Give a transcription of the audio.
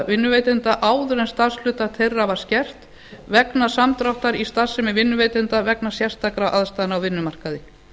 vinnuveitanda áður en starfshlutfall þeirra var skert vegna samdráttar í starfsemi vinnuveitanda vegna sérstakra aðstæðna á vinnumarkaði